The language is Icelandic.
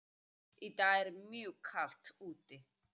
Í dag er mjög kalt úti.